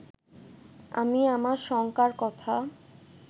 আমি আমার শঙ্কার কথা